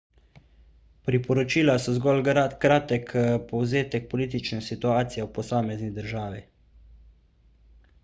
priporočila so zgolj kratek povzetek politične situacije v posamezni državi